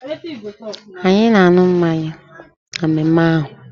Anyị na-aṅụ mmanya na mmemme ahụ